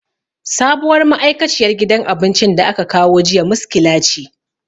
Sabuwar ma'aikaciyar gidan abincin da aka kawo jiya miskila ce.